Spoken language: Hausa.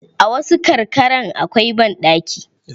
A wasu karkaran akwai banɗaki.